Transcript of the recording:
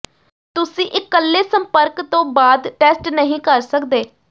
ਤੁਸੀਂ ਇਕੱਲੇ ਸੰਪਰਕ ਤੋਂ ਬਾਅਦ ਟੈਸਟ ਨਹੀਂ ਕਰ ਸਕਦੇ